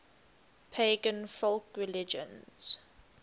pagan folk religions